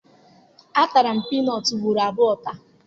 Atara m piinọọtụ ugboro abụọ taa.